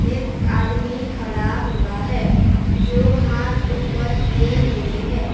एक आदमी खड़ा हुआ है जो हाथ ऊपर किए हुए है ।